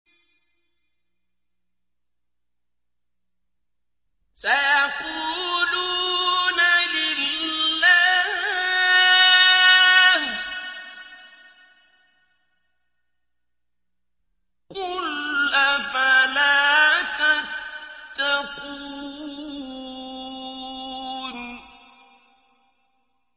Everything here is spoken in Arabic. سَيَقُولُونَ لِلَّهِ ۚ قُلْ أَفَلَا تَتَّقُونَ